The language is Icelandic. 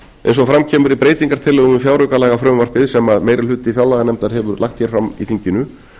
eins og fram kemur í breytingartillögu við fjáraukalagafrumvarpið sem meiri hluti fjárlaganefndar hefur lagt hér fram í þinginu